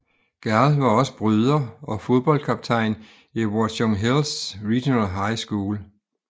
Gall var også bryder og fodboldkaptajn i Watchung Hills Regional High School